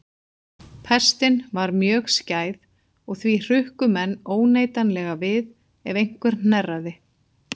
Pestin var mjög skæð og því hrukku menn óneitanlega við ef einhver hnerraði.